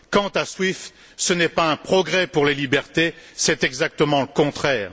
Quant à SWIFT, ce n'est pas un progrès pour les libertés, c'est exactement le contraire.